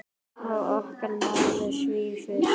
Og okkar maður svífur.